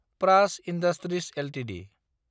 Praj industries Ltd